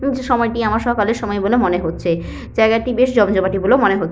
সময়টি আমার সকালের সময় বলে মনে হচ্ছে জায়গাটি বেশ জমজমাটি বলে মনে হ --